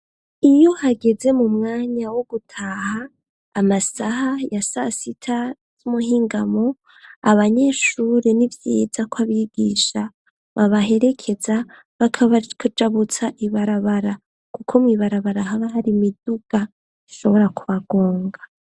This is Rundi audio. Iyo hageze mu mwanya wo gutaha amasaha ya sasita z'umuhingamo abanyeshuri ni vyiza ko abigisha babaherekeza bakabajabutsa ibarabara, kuko mw'ibarabara haba hari imiduga ishobora kubagonga.